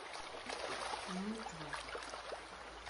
нытва